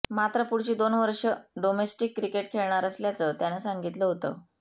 मात्र पुढची दोन वर्ष डोमेस्टिक क्रिकेट खेळणार असल्याचं त्यानं सांगितलं होतं